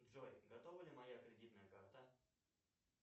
джой готова ли моя кредитная карта